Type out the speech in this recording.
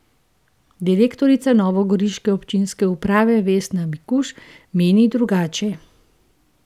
Direktorica novogoriške občinske uprave Vesna Mikuž meni drugače.